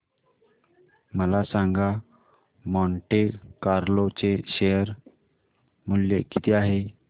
मला सांगा Monte Carlo चे शेअर मूल्य किती आहे